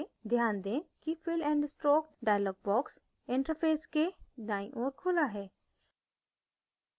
ध्यान दें कि fill and stroke dialog box interface के दाईं ओर खुला है